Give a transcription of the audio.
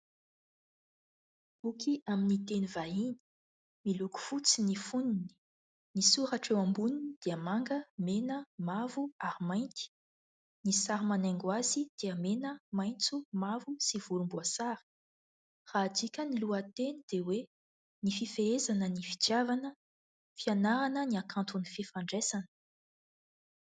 Boky amin'ny teny vahiny, miloko fotsy ny foniny. Ny soratra eo amboniny dia manga, mena, mavo ary mainty. Ny sary manaingo azy dia mena, maitso, mavo sy volomboasary. Raha adika ny lohateny dia hoe ny fifehezana ny fitiavana, fianarana ny hakanton'ny fifandraisana.